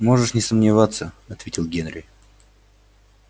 можешь не сомневаться ответил генри